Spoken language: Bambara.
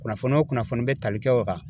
Kunnafoni o kunnafoni be tali kɛ o kan.